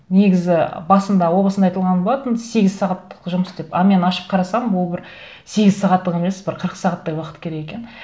негізі басында о басында айтылған болатын сегіз сағаттық жұмыс деп а мен ашып қарасам ол бір сегіз сағаттық емес бір қырық сағаттай уақыт керек екен